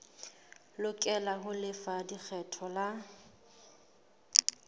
lokela ho lefa lekgetho la